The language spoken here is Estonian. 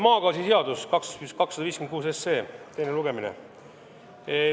Maagaasiseaduse muutmise seaduse eelnõu 256 teine lugemine.